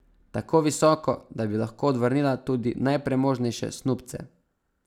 Tako visoko, da bi lahko odvrnila tudi najpremožnejše snubce.